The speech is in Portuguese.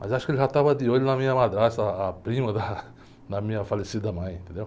Mas acho que ele já estava de olho na minha madrasta, ah, a prima da, da minha falecida mãe, entendeu?